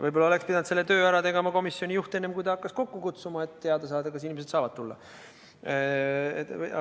Võib-olla oleks pidanud selle töö ära tegema komisjoni juht, enne kui hakkas komisjoni kokku kutsuma, et teada saada, kas inimesed üldse saavad tulla.